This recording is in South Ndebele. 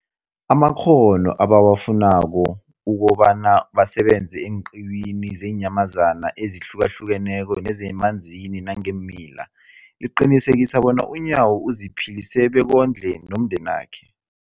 amakghono ebawafunako ukobana basebenze eenqiwini zeenyamazana ezihlukahlukeneko nezemanzini nangeemila, liqinisekisa bona uNyawo aziphilise bekondle nomndenakhe.